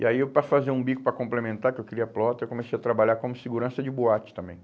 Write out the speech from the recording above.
E aí eu para fazer um bico para complementar, que eu queria plotter, eu comecei a trabalhar como segurança de boate também.